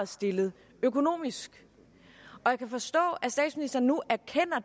stillet økonomisk jeg kan forstå at statsministeren nu erkender